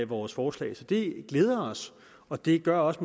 vores forslag det glæder os og det gør også